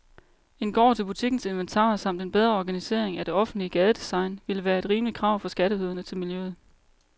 En gård til butikkens inventar samt en bedre organisering af det offentlige gadedesign ville være et rimeligt krav fra skatteyderne til miljøet.